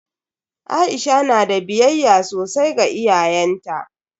Aisha na da biyayya sosai ga iyayenta.